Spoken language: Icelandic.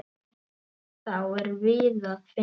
Þá er víða að finna.